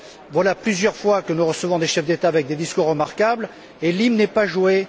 Voilà plusieurs fois que nous recevons des chefs d'État avec des discours remarquables et l'hymne n'est pas joué.